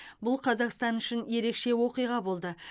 бұл қазақстан үшін ерекше оқиға болды